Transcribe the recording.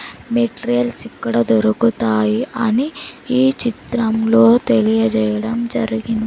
materials ఇక్కడ దొరుకుతాయి అని ఈ చిత్రంలో తెలియజేయడం జరిగిం--